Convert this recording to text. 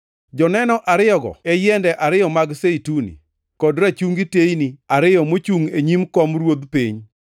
Joneno ariyogo e yiende ariyo mag zeituni, kod rachungi teyni ariyo mochungʼ e nyim kom Ruodh piny. + 11:4 \+xt Zek 4:3,11,14\+xt*